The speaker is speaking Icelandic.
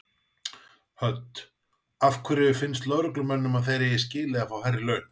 Hödd: Af hverju finnst lögreglumönnum að þeir eigi skilið að fá hærri laun?